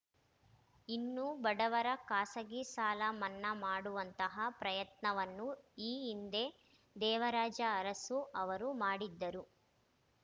ಇನ್ನು ಬಡವರ ಖಾಸಗಿ ಸಾಲ ಮನ್ನಾ ಮಾಡುವಂತಹ ಪ್ರಯತ್ನವನ್ನು ಈ ಹಿಂದೆ ದೇವರಾಜ ಅರಸು ಅವರು ಮಾಡಿದ್ದರು